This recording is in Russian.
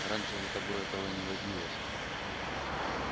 раньше за тобой этого не водилось